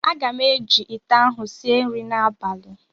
Aga m eji ite ahụ sie nri n'abalị